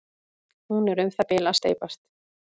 hún er um það bil að steypast